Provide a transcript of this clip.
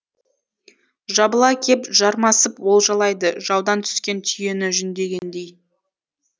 жабыла кеп жармасып олжалайды жаудан түскен түйені жүндегендей